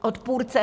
Odpůrce.